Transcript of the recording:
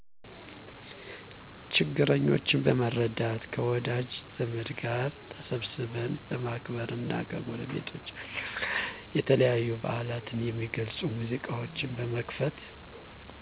ችግረኞችን በመርዳት ከወዳጅ ዘመድ ጋር ተሰብስበን በማክበር እና ከጎረቤቶቻችን ጋር የተለያዩ በዓላትን የሚገልፁ ሙዚቃዎች በመክፈት